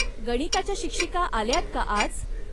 गणिताच्या शिक्षिका आल्यात का आज?